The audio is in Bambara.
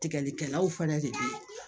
Tigɛlikɛlaw fɛnɛ de be yen